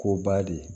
K'o ba de